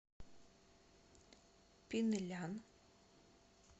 пинлян